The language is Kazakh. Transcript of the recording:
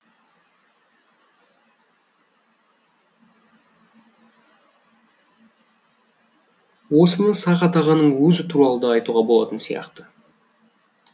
осыны сағат ағаның өзі туралы да айтуға болатын сияқты